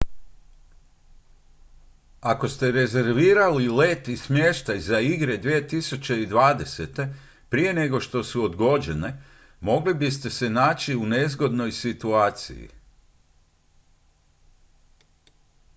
ako ste rezervirali let i smještaj za igre 2020. prije nego su odgođene mogli biste se naći u nezgodnoj situaciji